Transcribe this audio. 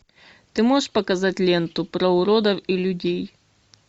ты можешь показать ленту про уродов и людей